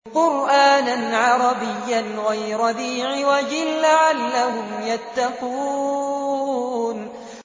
قُرْآنًا عَرَبِيًّا غَيْرَ ذِي عِوَجٍ لَّعَلَّهُمْ يَتَّقُونَ